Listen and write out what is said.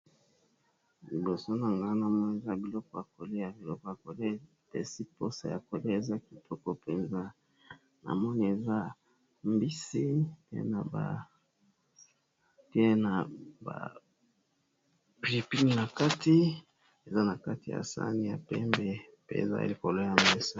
Liboso nazomona eza biloko ya koliya epesi posa ya koliya eza kitoko penza namoni eza mbisi pe na pilipili nakati eza nakati ya sahani ya pembe pe eza likolo ya mesa.